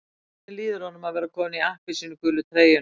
Hvernig líður honum að vera kominn í appelsínugulu treyjuna á ný?